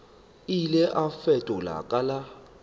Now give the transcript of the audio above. ile a fetola ka la